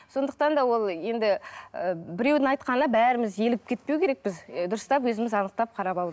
сондықтан да ол енді і біреудің айтқанына бәріміз елігіп кетпеу керекпіз ы дұрыстап өзіміз анықтап қарап алу